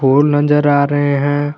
फूल नजर आ रहे हैं।